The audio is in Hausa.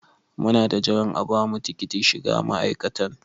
Muna ta jiran a bamu tikitin shiga ma'aikatan.